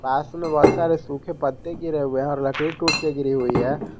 पास में बहुत सारे सूखे पत्ते गिरे हुए हैं और लकड़ी टूट के गिरी हुई है।